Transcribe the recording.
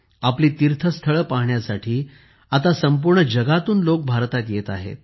आपली तिर्थस्थळे पाहण्यासाठी आता संपूर्ण जगातून लोक भारतत येत आहे